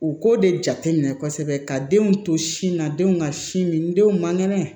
U k'o de jateminɛ kosɛbɛ ka denw to sin na denw ka sin min denw man kɛnɛ